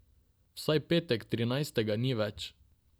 Vsaj petek trinajstega ni več.